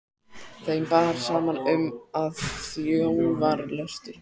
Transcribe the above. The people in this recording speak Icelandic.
Þeim bar saman um, að þjóðarlöstur